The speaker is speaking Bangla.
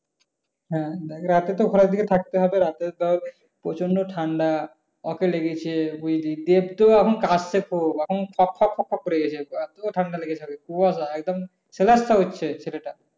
হ্যাঁ রাতে তো ঘরের দিকে থাকতে হবে রাতে ধর প্রচন্ড ঠান্ডা। দেব তো এখন কাশছে খুব এখন খক খক খক করে কেশে আজকেও ঠান্ডা লেগেছে। কুয়াশা একদম সেলাচ্ছা হচ্ছে।